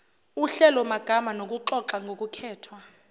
uhlelomagama nokuxoxa ngokukhethwa